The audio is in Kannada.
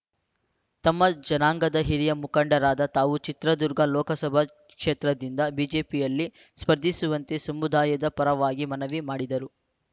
ನಮ್ಮ ಜನಾಂಗದ ಹಿರಿಯ ಮುಖಂಡರಾದ ತಾವು ಚಿತ್ರದುರ್ಗ ಲೋಕಸಭಾ ಕ್ಷೇತ್ರದಿಂದ ಬಿಜೆಪಿಯಲ್ಲಿ ಸ್ಪರ್ಧಿಸುವಂತೆ ಸಮುದಾಯದ ಪರವಾಗಿ ಮನವಿ ಮಾಡಿದರು